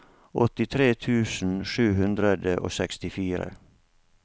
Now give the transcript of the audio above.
åttitre tusen sju hundre og sekstifire